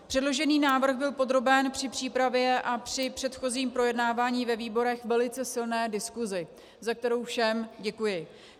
Předložený návrh byl podroben při přípravě a při předchozím projednávání ve výborech velice silné diskusi, za kterou všem děkuji.